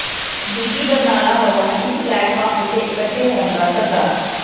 ਬੀਬੀ ਬਰਨਾਲਾ ਵੱਲੋਂ ਇਕ ਪਲੇਟਫਾਰਮ ਉਤੇ ਇਕੱਠੇ ਹੋਣ ਦਾ ਸੱਦਾ